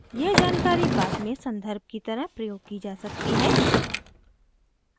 यह जानकारी बाद में सन्दर्भ की तरह प्रयोग की जा सकती है